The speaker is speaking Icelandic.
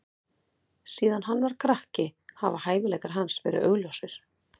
Síðan hann var krakki hafa hæfileikar hans verið augljósir.